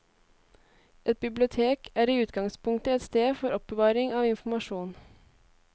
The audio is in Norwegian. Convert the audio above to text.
Et bibliotek er i utgangspunktet et sted for oppbevaring av informasjon.